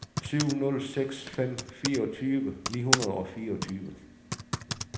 syv nul seks fem fireogtyve ni hundrede og fireogtyve